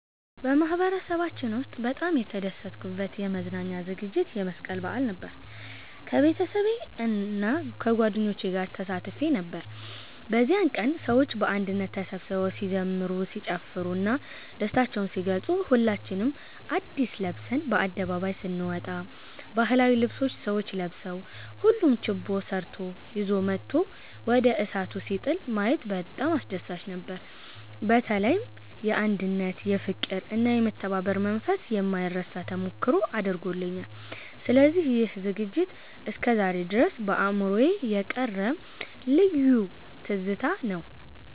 በማህበረሰባችን ውስጥ በጣም የተደሰትኩበት የመዝናኛ ዝግጅት የመስቀል በዓል ነበር። ከቤተሰቤና ከጓደኞቼ ጋር ተሳትፌ ነበር። በዚያ ቀን ሰዎች በአንድነት ተሰብስበው ሲዘምሩ፣ ሲጨፍሩ እና ደስታቸውን ሲገልጹ፣ ሁላችንም አድስ ለብሰን በአደባባዩ ስነወጣ፣ ባህላዊ ልብሶች ሰዎች ለብሰው፣ ሁሉም ችቦ ሰርቶ ይዞ መጥቶ ወደ እሳቱ ሲጥል ማየት በጣም አስደሳች ነበር። በተለይም የአንድነት፣ የፍቅር እና የመተባበር መንፈስ የማይረሳ ተሞክሮ አድርጎልኛል። ስለዚህ ይህ ዝግጅት እስከዛሬ ድረስ በአእምሮዬ የቀረ ልዩ ትዝታ ነው።"